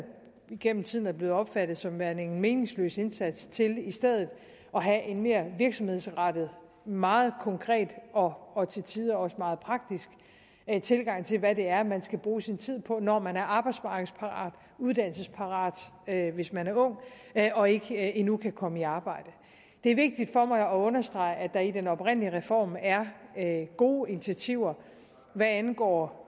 gennem tiden er blevet opfattet som værende en meningsløs indsats til i stedet at have en mere virksomhedsrettet meget konkret og og til tider også meget praktisk tilgang til hvad det er man skal bruge sin tid på når man er arbejdsmarkedsparat uddannelsesparat hvis man er ung og ikke endnu kan komme i arbejde det er vigtigt for mig at understrege at der i den oprindelige reform er gode initiativer hvad angår